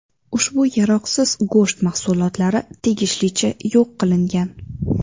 Ushbu yaroqsiz go‘sht mahsulotlari tegishlicha yo‘q qilingan.